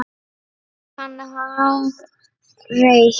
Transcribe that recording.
Getur hann hagrætt?